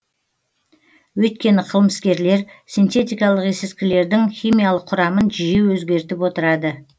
өйткені қылмыскерлер синтетикалық есірткілердің химиялық құрамын жиі өзгертіп отырады